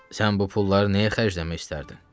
Sən bu pulları nəyə xərcləmək istərdin?